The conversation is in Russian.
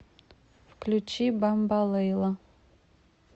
включи бамбалейла